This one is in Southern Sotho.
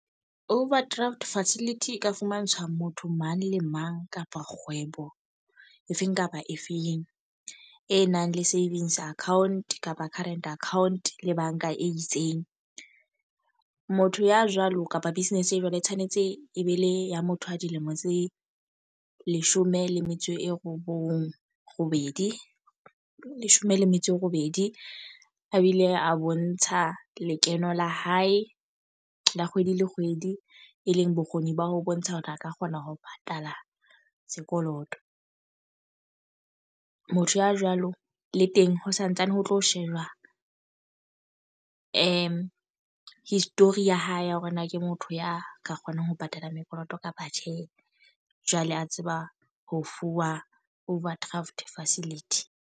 Overdraft facility e ka fumantshwa motho mang le mang kapa kgwebo efeng kapa efeng. E nang le savings account kapa current account le banka e itseng. Motho ya jwalo kapa business e jwalo e tshwanetse e be le ya motho a dilemo tse leshome le metso e robong, robedi, leshome le metso e robedi. A bi le a bontsha lekeno la hae la kgwedi le kgwedi, e leng bokgoni ba ho bontsha hore a ka kgona ho patala sekoloto. Motho ya jwalo le teng ho santsane ho tlo shejwa history ya hae ya hore na ke motho ya ka kgonang ho patala mekoloto kapa tjhe. Jwale a tseba ho fuwa overdraft facility.